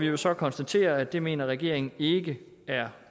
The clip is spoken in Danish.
jo så konstatere at det mener regeringen ikke er